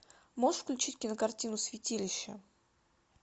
можешь включить кинокартину святилище